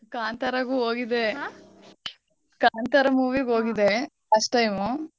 ಕಾಂತಾರಾಗು ಹೋಗಿದ್ದೆ. ಕಾಂತಾರ movie ಗ್ ಹೋಗಿದ್ದೆ first time .